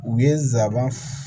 U ye nsaban